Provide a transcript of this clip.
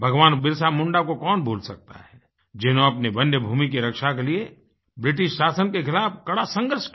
भगवान बिरसा मुंडा को कौन भूल सकता है जिन्होंने अपनी वन्य भूमि की रक्षा के लिए ब्रिटिश शासन के खिलाफ़ कड़ा संघर्ष किया